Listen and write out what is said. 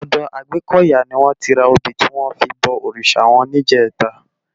Òdò Agbekoya ni wòn ti rá óbi tiwòn fi bò órisá wòn nijètá